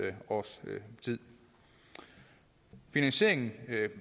års tid finansieringen